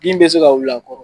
Bin bɛ se ka wili a kɔrɔ.